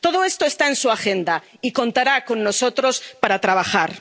Todo esto está en su agenda, y contará con nosotros para trabajar.